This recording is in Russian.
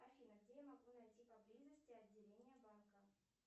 афина где я могу найти поблизости отделение банка